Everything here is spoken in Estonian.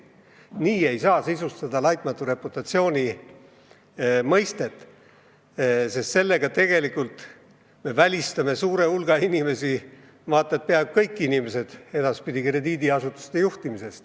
Niimoodi ei saa sisustada laitmatu reputatsiooni mõistet, sest sellega me võtame suurelt hulgalt inimestelt – vaata et peaaegu kõigilt inimestelt – võimaluse krediidiasutust juhtida.